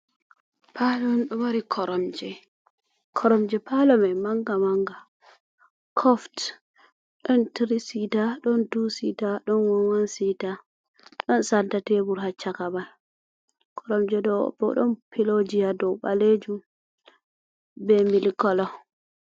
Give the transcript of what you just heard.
Paalo on ɗon mari koromje paalo may mannga mannga. Kof ɗon tirisita, ɗon tusita, ɗon wanwansita, ɗon santa tebur haa caka may koromje may bo ɗon pilooji a dow ɓaleejum be milikolo.